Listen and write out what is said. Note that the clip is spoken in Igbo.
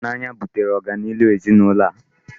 Ịhụnanya butere ọganihu ezinụlọ a.